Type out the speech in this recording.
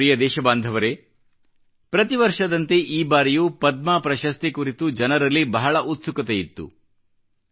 ನನ್ನ ಪ್ರಿಯ ದೇಶಬಾಂಧವರೇ ಪ್ರತಿ ವರ್ಷದಂತೆ ಈ ಬಾರಿಯೂ ಪದ್ಮ ಪ್ರಶಸ್ತಿ ಕುರಿತು ಜನರಲ್ಲಿ ಬಹಳ ಉತ್ಸುಕತೆಯಿತ್ತು